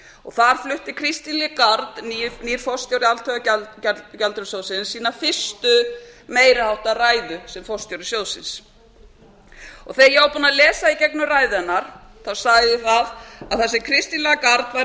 og þar flutti cristial guard nýr forstjóri alþjóðagjaldeyrissjóðsins sína fyrstu meiri háttar ræðu sem forstjóri sjóðsins þegar ég var búin að lesa í gegnum ræðuna sagði ég að það sem cristian guard væri að